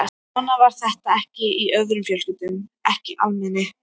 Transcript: Svona var þetta ekki í öðrum fjölskyldum, ekki almenni